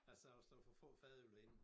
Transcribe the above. Jeg sagde også der var for få fadøl derinde